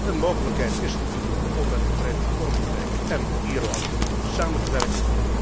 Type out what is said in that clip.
Een mogelijkheid is er om met het Verenigd Koninkrijk en Ierland samen te werken.